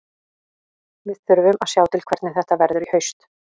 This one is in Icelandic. Við þurfum að sjá til hvernig þetta verður í haust.